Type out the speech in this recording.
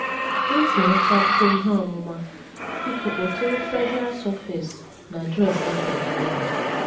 Iji nwetakwuo ihe ọmụma, biko kpọtụrụ Treasurer’s Office n’adres e dere n’elu.